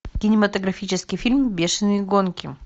кинематографический фильм бешеные гонки